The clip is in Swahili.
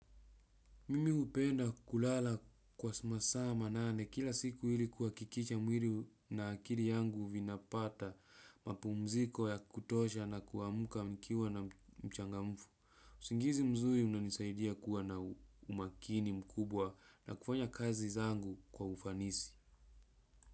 Mimi hupenda kulala kwa masaa manane kila siku ili kuhakikisha mwili na akili yangu vinapata mapumziko ya kutosha na kuamka nikiwa na mchangamfu. Usingizi mzuri unanisaidia kuwa na umakini mkubwa na kufanya kazi zangu kwa ufanisi.